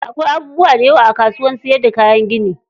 Akwai abubuwa dayawa a kasuwar siyar da kayan gini.